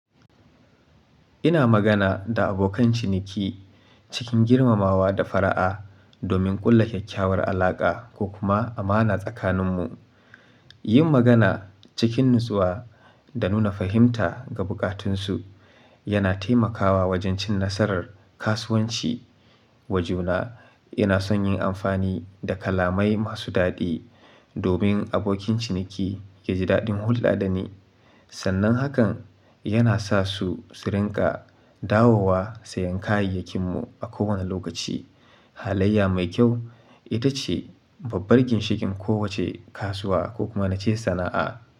Ina magana da abokan ciniki cikin girmamawa da fara'a domin ƙulla kyakkyawar alaƙa ko kuma amana tsakaninmu. Yin magana cikin natsuwa da nuna fahimta ga bukatun su yana taimakawa wajen cin nasarar kasuwanci. Wajuna, ina son yin amfani da kalamai masu daɗi domin abokin ciniki ya ji daɗin hulɗa da ni. Sannan hakan yana sa su su rinƙa dawowa sayan kayayyakinmu a kowane lokaci. Halayya mai kyau ita ce babbar ginshikin kowace kasuwa ko kuma na ce sana'a.